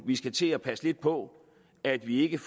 vi skulle til at passe lidt på at vi ikke